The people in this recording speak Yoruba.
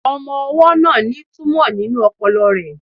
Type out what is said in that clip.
Ọmọ-ọwọ́ náà ní túmọ̀ nínú ọpọlọ rẹ̀